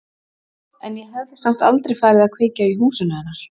En ég hefði samt aldrei farið að kveikja í húsinu hennar.